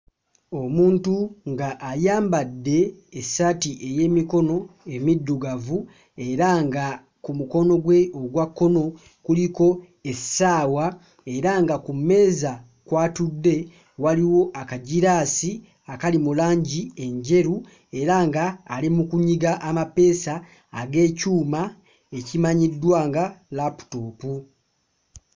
Omuntu ng'ayambadde essaati ey'emikono emiddugavu era nga ku mukono gwe ogwa kkono kuliko essaawa era nga ku mmeeza kw'atudde waliwo akagiraasi akali mu langi enjeru era nga ali mu kunyiga amapeesa ag'ekyuma ekimanyiddwa nga laputoopu.